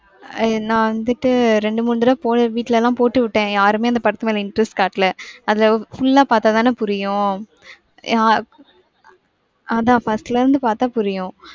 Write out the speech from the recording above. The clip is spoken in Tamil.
அஹ் நா வந்துட்டு ரெண்டு, மூணு தரவ போய் வீட்டுல எல்லாம் போட்டுவிட்டேன் யாருமே அந்த படத்துமேல interest காட்டலஅத full லா பாத்தாதான புரியும். ஆஹ் அத first ல இருந்து பாத்தா புரியும்.